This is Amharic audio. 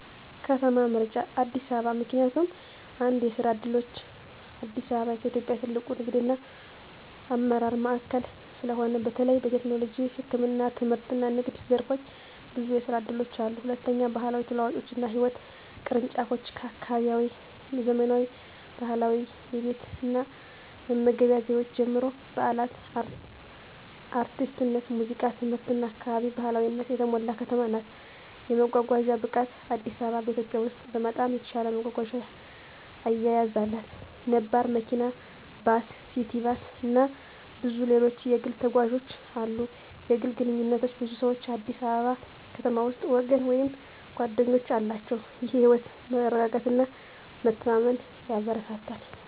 ከተማ ምርጫ አዲስ አበባ ምክንያቱም፦ 1. የስራ ዕድሎች: አዲስ አበባ ከኢትዮጵያ ትልቁ ንግድና አመራር ማዕከል ስለሆነ፣ በተለይ በቴክኖሎጂ፣ ህክምና፣ ትምህርትና ንግድ ዘርፎች ብዙ የስራ እድሎች አሉ። 2. ባህላዊ ተለዋዋጮችና ህይወት ቅርንጫፎች: ከአካባቢያዊ ዘመናዊ ባህላዊ የቤት እና መመገብ ዘይቤዎች ጀምሮ፣ በዓላት፣ አርቲስትነት፣ ሙዚቃ፣ ትምህርትና አካባቢ ባህላዊነት የተሞላ ከተማ ናት። 3. የመጓጓዣ ብቃት: አዲስ አበባ በኢትዮጵያ ውስጥ በጣም የተሻለ መጓጓዣ አያያዝ አላት። ነባር መኪና፣ ባስ፣ ሲቲ ባስ፣ እና ብዙ ሌሎች የግል ተጓዦች አሉ። 4. የግል ግንኙነቶች: ብዙ ሰዎች አዲስ አበባ ከተማ ውስጥ ወገን ወይም ጓደኞች አላቸው፣ ይህም የህይወት መረጋጋትና መተማመን ያበረታታል።